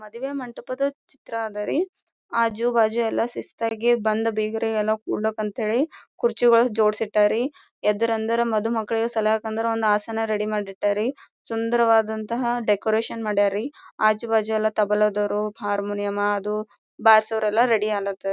ಮದುವೆ ಮಂಟಪದ ಚಿತ್ರ ಅದ್ ರೀ ಆಜು ಬಾಜು ಎಲ್ಲಾ ಸಿಸ್ತಾಗಿ ಬಂದ್ ಬಿಗರಿಗೆಲ್ಲಾ ಕುಡ್ಲ ಅಂತ ಹೇಳಿ ಕುರ್ಚಿಗಳು ಜೋಡಸಿಟ್ಟಾರಿ ಎದ್ದ್ ರಂದ್ರ್ ಮದು ಮಕ್ಕಳಿಗೆ ಸಹಲಕ್ ಕುಂದ್ರ ಆಸನ ರೆಡಿ ಮಾಡಿ ಇಟ್ಟಾರಿ ಸುಂದರವಾದಂತಹ ಡೆಕೋರೇಷನ್ ಮಾಡ್ಯರಿ ಆಜುಬಾಜು ಎಲ್ಲಾ ತಬಲದವರು ಹಾರಮೋನಿಯಂ ಅದು ಬಾರಸೊರೆಲ್ಲಾ ರೆಡಿ ಅಲತಾರ್ .